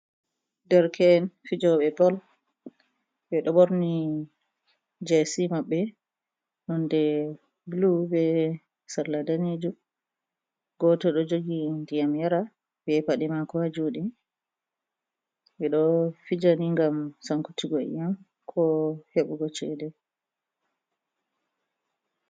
Derke'en fijobe bol ɓeɗo ɓorni jesi maɓɓe nonde bulu be salla danejum, goto ɗo jogi ndiyam yaraa be paɗe maako haa juɗe. Ɓeɗo fijani ngam sankutuggo iyam ko heɓugo chede.